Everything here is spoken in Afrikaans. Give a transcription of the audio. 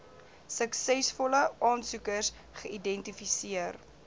suksesvolle aansoekers geidentifiseer